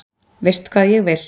Veist hvað ég vil.